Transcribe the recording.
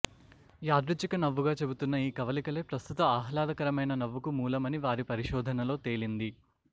యాదృచ్ఛిక నవ్వుగా చెబుతున్న ఈ కవళికలే ప్రస్తుత ఆహ్లాదకరమైన నవ్వుకు మూలమని వారి పరిశోధనలో తేలింది